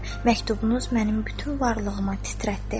Məktubunuz mənim bütün varlığıma titrətdi.